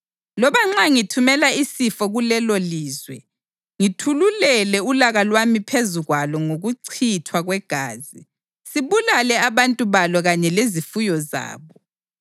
Loba nxa ngithumela isifo kulelolizwe, ngithululele ulaka lwami phezu kwalo ngokuchithwa kwegazi, sibulale abantu balo kanye lezifuyo zabo,